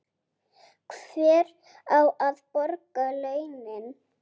Hver á að borga launin?